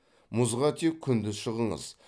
мұзға тек күндіз шығыңыз